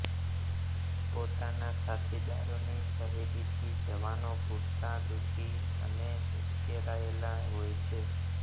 પોતાના સાથીદારોની શહીદીથી જવાનો પૂરતા દુઃખી અને ઉશ્કેરાયેલા હોય છે